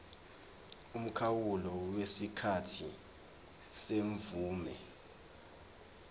umkhawulo wesikhathi semvume